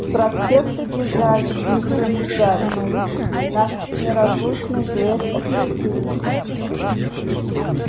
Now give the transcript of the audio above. с проспекта бежали игорь и гарик наш неразлучный дуэт оперативников